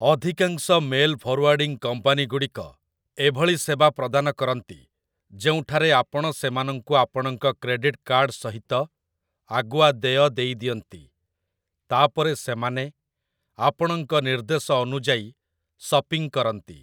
ଅଧିକାଂଶ mail forwarding କମ୍ପାନୀଗୁଡ଼ିକ ଏଭଳି ସେବା ପ୍ରଦାନ କରନ୍ତି, ଯେଉଁଠାରେ ଆପଣ ସେମାନଙ୍କୁ ଆପଣଙ୍କ କ୍ରେଡିଟ୍ କାର୍ଡ଼ ସହିତ ଆଗୁଆ ଦେୟ ଦେଇଦିଅନ୍ତି, ତାପରେ ସେମାନେ ଆପଣଙ୍କ ନିର୍ଦ୍ଦେଶ ଅନୁଯାୟୀ ସପିଂ କରନ୍ତି ।